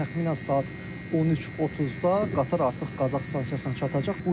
Təxminən saat 13:30-da qatar artıq Qazax stansiyasına çatacaq.